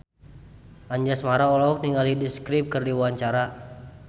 Anjasmara olohok ningali The Script keur diwawancara